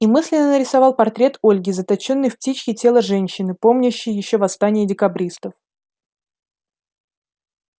и мысленно нарисовал портрет ольги заточённой в птичье тело женщины помнящей ещё восстание декабристов